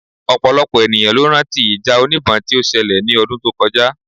Ọ̀pọ̀lọpọ̀ ènìyàn ló rán tí ìjà oníbọn tí ó ṣẹlẹ̀ ní ọdún tó kọjá